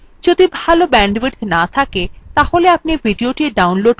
যদি ভাল bandwidth না থাকে তাহলে আপনি ভিডিওটি download করে দেখতে পারেন